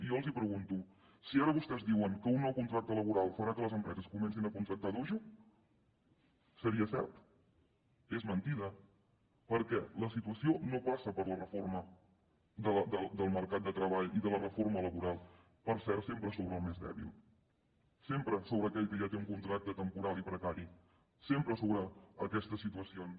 i jo els pregunto si ara vostès diuen que un nou contracte laboral farà que les empreses comencin a contractar a dojo seria cert és mentida perquè la situació no passa per la reforma del mercat de treball i de la reforma laboral per cert sempre sobre el més dèbil sempre sobre aquell que ja té un contracte temporal i precari sempre sobre aquestes situacions